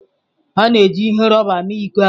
A na-eji ihe rọba mee iko ahụ.